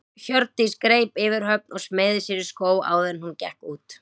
Hjördís greip yfirhöfn og smeygði sér í skó áður en hún gekk út.